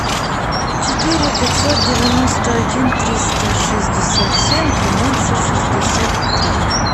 четыре пятьсот девяносто один триста шестьдесят семь двенадцать шестьдесят три